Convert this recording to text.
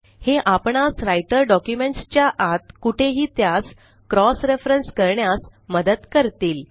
हे आपणास Writer documents च्या आत कुठेही त्यास क्रॉस referenceकरण्यास मदत करतील